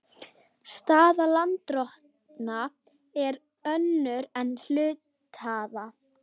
Staða lánardrottna er önnur en hluthafa.